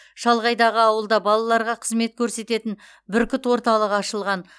шалғайдағы ауылда балаларға қызмет көрсететін бүркіт орталығы ашылған